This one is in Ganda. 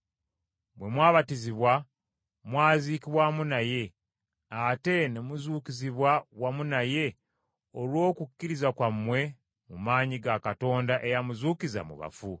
Bwe mwabatizibwa, mwaziikibwa wamu naye, ate ne muzuukizibwa wamu naye olw’okukkiriza kwammwe mu maanyi ga Katonda eyamuzuukiza mu bafu.